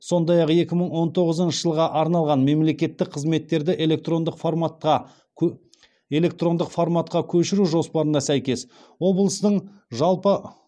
сондай ақ екі мың он тоғызыншы жылға арналған мемлекеттік қызметтерді электрондық форматқа көшіру жоспарына сәйкес облыстың жалпы